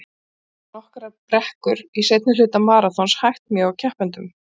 Þannig geta nokkrar brekkur í seinni hluta maraþons hægt mjög á keppendum.